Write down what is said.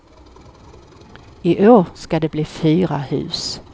I år ska det bli fyra hus.